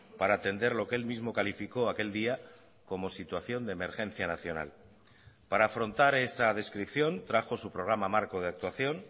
para atender lo que él mismo calificó aquel día como situación de emergencia nacional para afrontar esa descripción trajo su programa marco de actuación